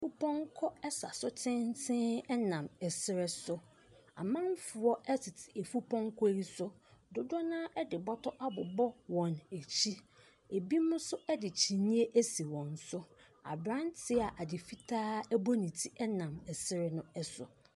Mpɔnkɔ sa so tenten nam serɛ so. Amanfoɔ tete efupɔnkɔ yi so. Dodoɔ no ara de bɔtɔ abobɔ wɔn akyi. Ebinom nso de kyiniiɛ asi wɔn so. Aberanteɛ a ade fitaa bɔ ne ti nam serɛ no so.